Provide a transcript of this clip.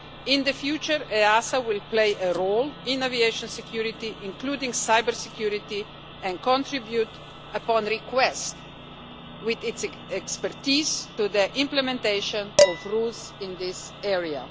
In the future, EASA will play a role in aviation security, including cybersecurity, and contribute upon request with its expertise to the implementation of rules in this area.